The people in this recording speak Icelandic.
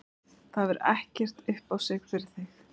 Það hefur ekkert upp á sig fyrir þig.